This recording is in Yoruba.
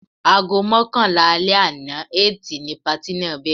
Aago mọ́kànlá alẹ́ àná Ẹtì ni patí náà bẹ̀rẹ̀.